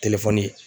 Telefɔni